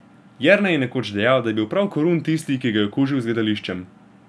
Jernej je nekoč dejal, da je bil prav Korun tisti, ki ga je okužil z gledališčem.